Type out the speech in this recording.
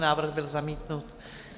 Návrh byl zamítnut.